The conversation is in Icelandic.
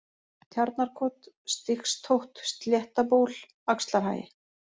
Tjarnarkot, Stigstótt, Sléttaból, Axlarhagi